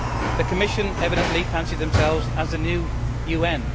The Commission evidently fancy themselves as the new UN.